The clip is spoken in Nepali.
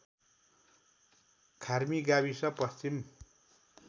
खार्मी गाविस पश्चिम